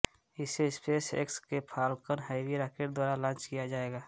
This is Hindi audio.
इसे स्पेसएक्स के फाल्कन हैवी राकेट द्वारा लांच किया जायेगा